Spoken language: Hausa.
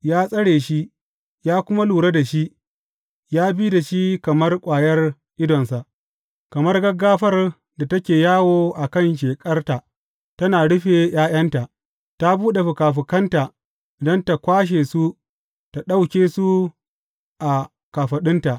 Ya tsare shi, ya kuma lura da shi; ya bi da shi kamar ƙwayar idonsa, kamar gaggafar da take yawo a kan sheƙarta tana rufe ’ya’yanta, ta buɗe fikafikanta don tă kwashe su tă ɗauke su a kafaɗunta.